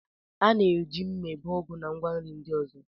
A na-eji mma ebe ugu na ngwa nri ndị ọzọ.